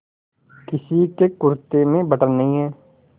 किसी के कुरते में बटन नहीं है